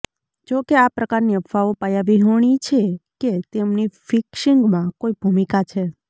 જો કે આ પ્રકારની અફવાઓ પાયા વિહોણી છે કે તેમની ફિક્સિંગમાં કોઇ ભૂમિકા છે